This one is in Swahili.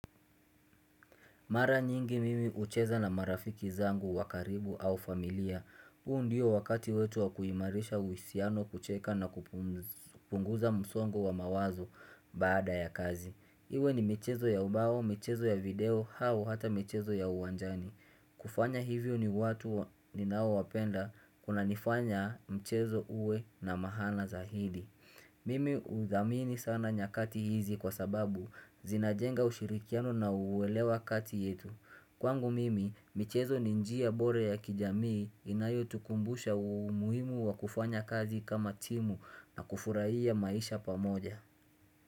Mara nyingi mimi ucheza na marafiki zangu wa karibu au familia. Huu ndio wakati wetu wa kuimarisha uhusiano, kucheka na kupunguza msongo wa mawazo baada ya kazi. Iwe ni michezo ya ubao, michezo ya video, au hata michezo ya uwanjani. Kufanya hivyo ni watu ninaowapenda kunanifanya mchezo uwe na maana zaidi. Mimi udhamini sana nyakati hizi kwa sababu zinajenga ushirikiano na uelewa kati yetu. Kwangu mimi michezo ni njia bore ya kijamii inayotukumbusha umuhimu wa kufanya kazi kama timu na kufurahia maisha pamoja.